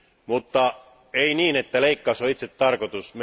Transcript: Mutta ei niin, että leikkaus on itse tarkoitus.